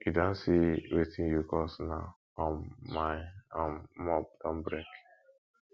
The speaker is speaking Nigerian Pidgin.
you don see wetin you cause now um my um mop don break